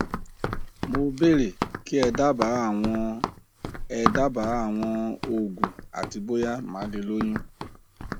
mo bèèrè kí ẹ dábàá àwọn ẹ dábàá àwọn òògùn àti bóyá màá lè lóyún